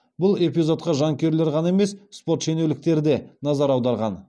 бұл эпизодқа жанкүйерлер ғана емес спорт шенеуніктері де назар аударған